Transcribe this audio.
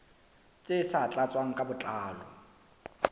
tse sa tlatswang ka botlalo